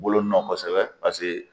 Bolo nɔ kosɛbɛ pase